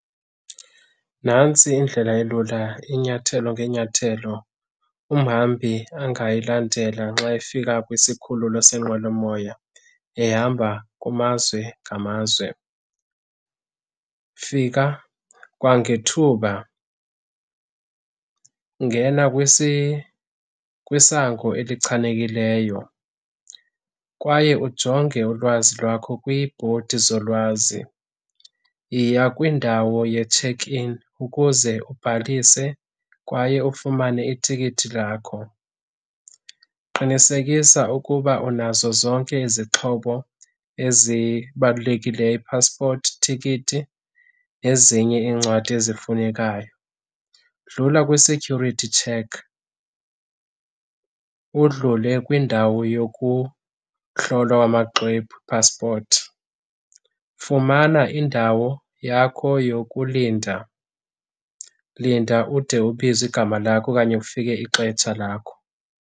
Nantsi indlela elula inyathelo ngenyathelo umhambi angayilandela nxa efika kwisikhululo senqwelomoya ehamba kumazwe ngamazwe. Fika kwangethuba, ngena kwisango elichanekileyo kwaye ujonge ulwazi lwakho kwibhodi zolwazi. Yiya kwindawo ye-check in ukuze ubhalise kwaye ufumane itikiti lakho. Qinisekisa ukuba unazo zonke izixhobo ezibalulekileyo, ipaspoti, itikiti nezinye iincwadi ezifunekayo. Dlula kwi-security check, udlule kwindawo yokuhlolwa amaxwebhu, ipaspoti. Fumana indawo yakho yokulinda, linda ude ubizwe igama lakho okanye kufike ixetsha lakho.